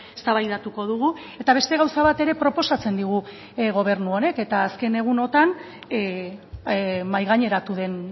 eztabaidatuko dugu eta beste gauza bat ere proposatzen digu gobernu honek eta azken egunotan mahai gaineratu den